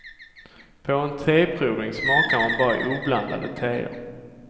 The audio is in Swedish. På en teprovning smakar man bara oblandade teer.